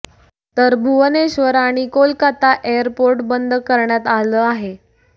तर भुवनेश्वर आणि कोलकाता एअरपोर्ट बंद करण्यात आलं आहे